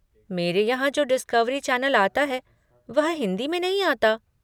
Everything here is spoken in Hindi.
मेरे यहाँ जो डिस्कवरी चैनल आता है वह हिन्दी में नहीं आता।